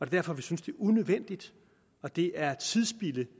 derfor vi synes det er unødvendigt at det er tidsspilde